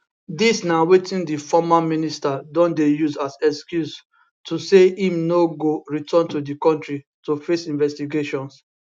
dis na wetin di former minister don dey use as excuse so say im no go return to di kontri to face investigations